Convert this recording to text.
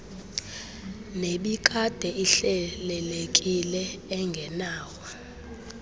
nebikade ihlelelekile engenawo